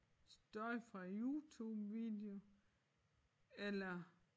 Støj fra YouTubevideo eller